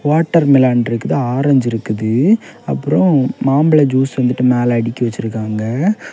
Water melon இருக்குது orange இருக்குது அப்புறொ மாம்பள சூஸ் வந்துட்டு மேல அடுக்கி வெச்சிருக்காங்க.